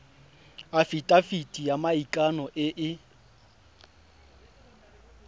afitafiti ya maikano e e